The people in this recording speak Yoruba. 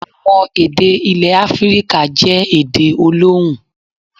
Àwọn èdè ilẹ̀ Áfíríkà jẹ́ èdè olóhùn.